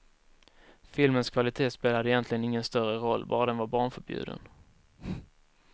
Filmens kvalitet spelade egentligen ingen större roll, bara den var barnförbjuden.